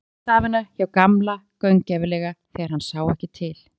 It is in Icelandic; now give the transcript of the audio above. Hún skoðaði stafina hjá Gamla gaumgæfilega þegar hann sá ekki til.